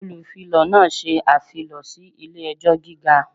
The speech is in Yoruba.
Olufilọ náà ṣe afilọ si ile-ẹjọ giga.